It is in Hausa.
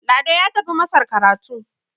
Lado ya tafi masar karatu